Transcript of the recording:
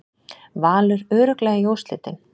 Valur örugglega í úrslitin